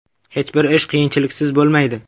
Hech bir ish qiyinchiliksiz bo‘lmaydi.